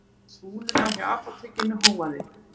Við súluna hjá apótekinu hóaði